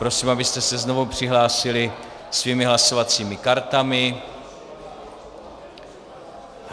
Prosím, abyste se znovu přihlásili svými hlasovacími kartami.